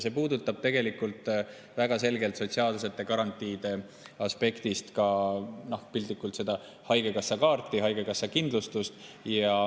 See puudutab sotsiaalsete garantiide aspektist väga selgelt ka piltlikult öeldes haigekassakaarti, haigekassakindlustust.